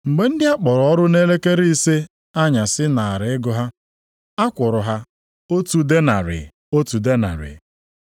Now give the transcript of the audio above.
“Mgbe ndị a kpọrọ ọrụ nʼelekere ise anyasị naara ego ha, a kwụrụ ha otu denarị, otu denarị.